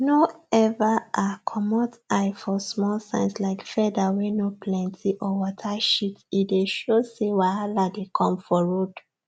no ever um comot eye for small signs like feather wey no plenty or water shit e dey show say wahala dey come for road